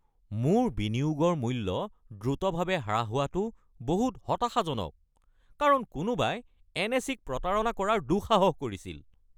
মোৰ বিনিয়োগৰ মূল্য দ্ৰুতভাৱে হ্ৰাস হোৱাটো বহুত হতাশাজনক কাৰণ কোনোবাই এনএছই-ক প্ৰতাৰণা কৰাৰ দুঃসাহস কৰিছিল।